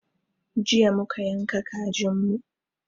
Jiya muka yanka kajin mu